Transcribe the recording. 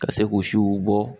Ka se k'u siw bɔ